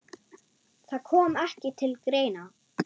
Það kom ekki til greina.